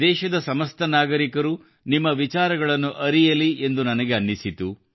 ದೇಶದ ಸಮಸ್ತ ನಾಗರಿಕರು ನಿಮ್ಮ ವಿಚಾರಗಳನ್ನು ಅರಿಯಲಿ ಎಂದು ನನಗೆ ಅನ್ನಿಸಿತು